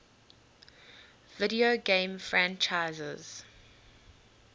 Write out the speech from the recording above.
video game franchises